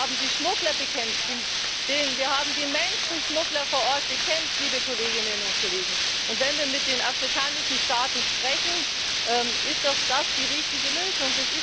Wir haben die Schmuggler bekämpft, wir haben die Menschenschmuggler vor Ort bekämpft, liebe Kolleginnen und Kollegen. Und wenn wir mit den afrikanischen Staaten sprechen, ist doch das die richtige Lösung.